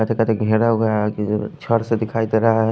कटे कटे छड से दिखाई देरा है।